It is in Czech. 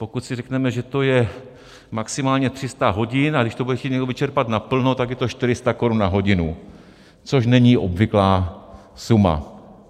Pokud si řekneme, že to je maximálně 300 hodin, a když to bude chtít někdo vyčerpat naplno, tak je to 400 Kč na hodinu, což není obvyklá suma.